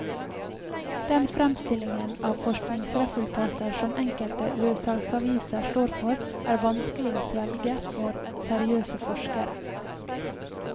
Den fremstillingen av forskningsresultater som enkelte løssalgsaviser står for, er vanskelig å svelge for seriøse forskere.